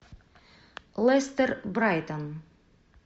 лестер брайтон